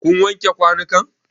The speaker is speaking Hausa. Kun wanke kwanun kan?